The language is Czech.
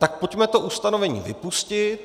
Tak pojďme to ustanovení vypustit.